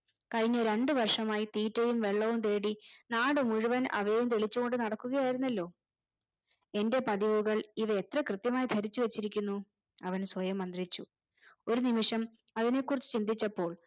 കഴിഞ്ഞ രണ്ടു വർഷമായി തീറ്റയും വെള്ളവും തേടി നാടുമുഴുവൻ അവയെം തെളിച്ച് കൊണ്ട് നടക്കുകയായിരുന്നല്ലോ എന്റെ പതിവുകൾ ഇവ എത്ര കൃത്യമായി ധരിച്ചുവെച്ചിരിക്കുന്നു അവൻ സ്വയം മന്ത്രിച്ചു ഒരു നിമിഷം അവനെക്കുറിച്ച് ചിന്തിച്ചപ്പോൾ